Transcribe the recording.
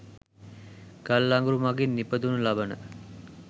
ගල් අඟුරු මගින් නිපදවනු ලබන